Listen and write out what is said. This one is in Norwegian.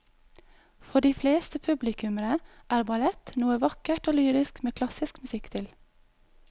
For de fleste publikummere er ballett noe vakkert og lyrisk med klassisk musikk til.